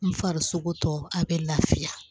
N farisoko tɔ a bɛ lafiya